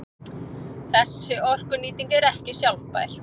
Þessi orkunýting er ekki sjálfbær.